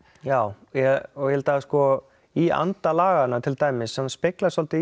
já í anda laganna til dæmis sem speglast svolítið